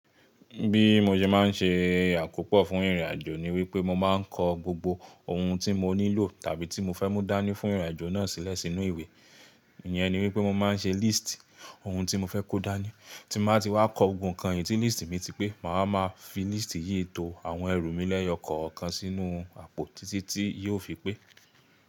Bí mo ṣe má n ṣe àkópọ̀ fún ìrìnàjò ni wípé mo má n kọ gbogbo ohun tí mo nílò tàbí tí mo fẹ́ mú dání fún ìrìnàjò náà sílẹ̀ sínú ìwé. Ìyẹn ni wípé mo má n ṣe líst ohun tí mo fẹ́ kó dání. Tí mo bá ti wá kọ gbogbo kan yìí tí líst mi ti pé, mà á máa fi líst yìí to àwọn ẹrù mi lẹ́yọ̀ kọ̀ọ̀kan sínú àpótí tí yóò fi pé.